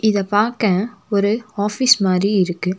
இத பாக்க ஒரு ஆஃபீஸ் மாரி இருக்கு.